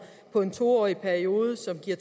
på en to årig periode der giver